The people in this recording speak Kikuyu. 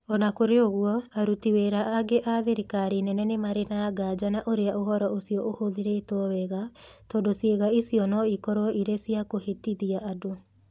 O na kũrĩ ũguo, aruti wĩra angĩ a thirikari nene nĩ marĩ na nganja na ũrĩa ũhoro ũcio ũhũthĩrĩtwo wega, tondũ ciĩga icio no ikorũo irĩ cia kũhĩtithia andũ.